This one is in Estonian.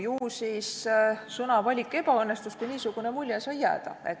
Ju siis sõnavalik ebaõnnestus, kui niisugune mulje sai jääda.